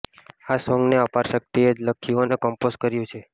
આ સોન્ગને અપારશક્તિએ જ લખ્યું અને કમ્પોઝ કર્યું છે